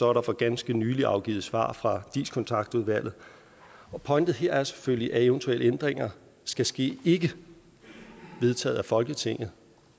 er der for ganske nylig afgivet svar fra dis kontaktudvalget pointen her er selvfølgelig at eventuelle ændringer skal ske ikke vedtaget af folketinget